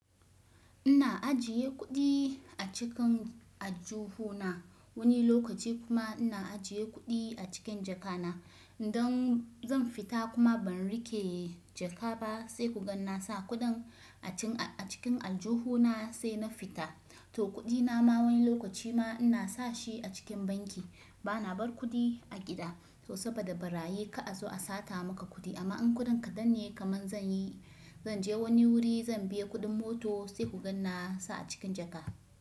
Ina ajiye kuɗi a cikin aljuhu na wani lokaci kuma ina ajiye kuɗi a cikin jaka na. Idan zan fita kuma ban rike jaka ba sai ku gan na sa kuɗin a cikin aljuhu na sai na fita. To kuɗi na ma wani lokaci ma ina sa shi a cikin banki. Ba na bar kuɗi a gida to saboda barayi ka'a zo a sata maka kuɗi amma in kuɗin ka danne kaman zan yi, zan je wani wuri zan biya kuɗin mota sai ku gan na sa a cikin jaka.